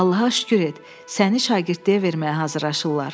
Allaha şükür et, səni şagirdliyə verməyə hazırlaşırlar.